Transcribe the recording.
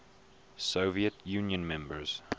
soviet union members